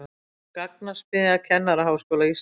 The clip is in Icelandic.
Gagnasmiðja Kennaraháskóla Íslands